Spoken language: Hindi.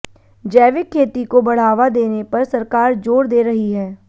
जैविक खेती को बढ़ावा देने पर सरकार जोर दे रही है